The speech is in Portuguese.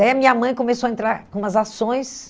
é minha mãe começou a entrar com umas ações.